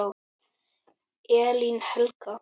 Elín Helga.